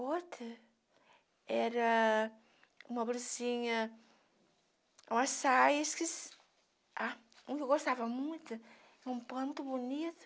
Outra era uma blusinha, uma saia, esqueci ah, um que eu gostava muito, um pano muito bonito,